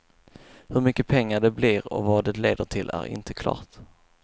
Hur mycket pengar det blir och vad det leder till är inte klart.